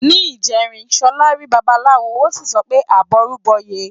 Ní ìjẹrin, Ṣọlá rí Babaláwo, ó sì sọ pé "àbọrú bọyè".